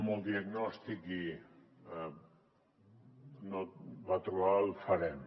molt diagnòstic i no va trobar el farem